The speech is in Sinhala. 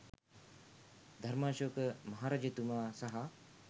ධර්මාශෝක මහරජතුමා සහ